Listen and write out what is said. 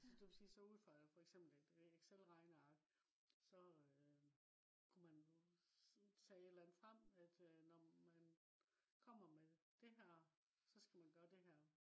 altså det vil sige så ud fra for eksempel et excel regneark så øh kunne man tage et eller andet frem at øh når man kommer med det her så skal man gøre det her